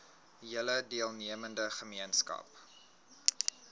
hele deelnemende gemeenskap